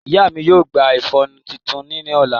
Iya mi yoo gba iƒọnu titun ni ọla.